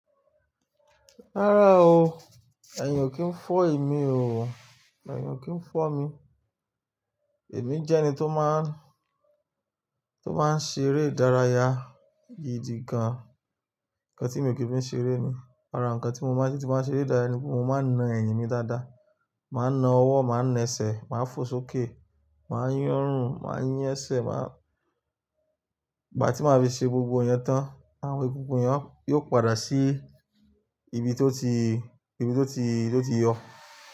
Rárá o, èyin o kì n fọ́ emí o, èyin o kì n fọ́ mi. Emi jẹ́ ẹni tó máa ń, tó máa ń ṣeré ìdárayá gidi gan. Ǹnkan tí mi o kí fi ṣeré ni, ara ǹnkan tí mo máa ń ṣe tí mo bá n ṣeré ìdárayá ni pé mo máa na ẹ̀yìn mi dáadáa, màá na ọwọ́, màá na ẹsẹ̀, màá fò sókè, màá yin orùn, màá yin ẹsẹ̀, màá ìgbà tí màá fi ṣe gbogbo iyen tán, àwọn egungun yen yóò padà sí ibi tó ti, ibi tó ti, tó ti yọ.